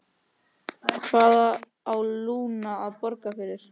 Hvað á Lúna að borga fyrir?